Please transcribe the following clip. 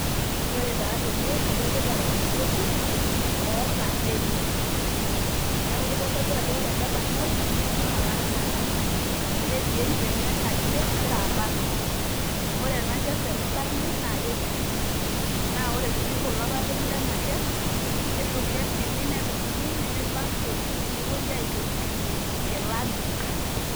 ore taa tene adolita orbarnoti oota eng'udi. neaku keitodolu ajo ore ele barnoti naa olaramatani neetii eker nairagie egira abarn. ore ena ker tenebarni naa kepiru naa ore sii kulo papit lena keer naa kedim nedumuni neyai factory nepuoi aintobirunye inkilani.